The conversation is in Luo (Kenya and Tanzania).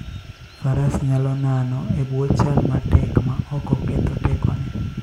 Faras nyalo nano e bwo chal matek ma ok oketh tekone.